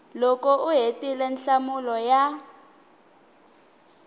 loko u hetile nhlamulo ya